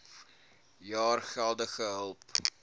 jaar geldelike hulp